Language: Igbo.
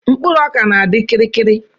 mkpụrụ ọka na-adi kirikiri